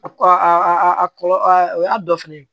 A a kɔlɔlɔ o y'a dɔ fɛnɛ ye